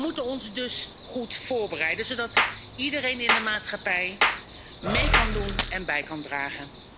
We moeten ons dus goed voorbereiden, zodat iedereen in de maatschappij mee kan doen en bij kan dragen.